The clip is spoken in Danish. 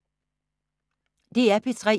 DR P3